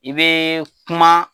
I bɛɛɛ kuma.